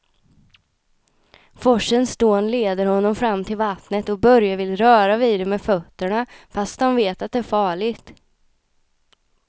Forsens dån leder honom fram till vattnet och Börje vill röra vid det med fötterna, fast han vet att det är farligt.